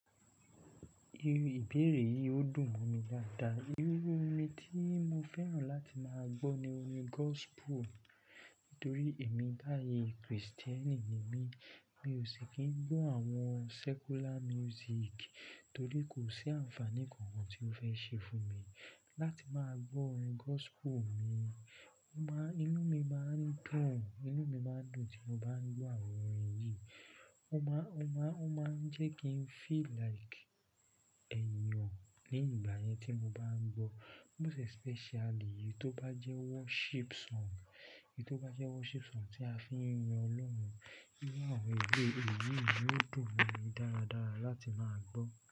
Ibéèrè yìí ó dùn mọ́ mi dáadáa. Irú orin tí mo fẹ́ràn láti máa gbọ́ ni orin gospel torí èmi láàyè Kristẹni ni mí. Mi ò sì kí ń gbọ́ àwọn secular music torí kò sí àǹfààní kan tí ó fẹ́ ṣe fún mi. Láti máa gbọ́ orin gospel mi, inú mi máa ń dùn, inú mi máa ń dùn tí mo bá ń gbọ́ àwọn orin yìí. O máa, o máa, o máa ń jẹ́ kí n feel like èèyàn lẹ́yìn ìgbà yẹn tí mo bá ń gbọ́. Most especially, eyi to ba jẹ́ worship song, eyi to ba jẹ́ worship song tí a fi ń yan Ọlọ́run ní àwọn èwe e, èyí ni ó dùn mọ́ mi dáradára láti máa gbọ́.